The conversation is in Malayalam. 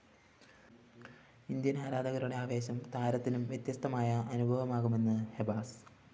ഇന്ത്യന്‍ ആരാധകരുടെ ആവേശം താരത്തിനും വ്യത്യസ്തമായ അനുഭവമാകുമെന്നും ഹെബാസ്